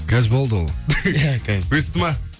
қазір болды ол иә өсті ма